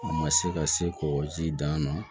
U ma se ka se k'o ji dan na